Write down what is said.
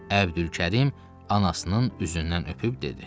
Əbdülkərim anasının üzündən öpüb dedi.